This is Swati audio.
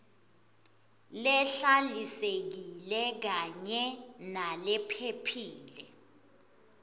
lehlalisekile kanye nalephephile